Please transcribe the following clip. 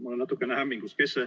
Ma olen natuke hämmingus.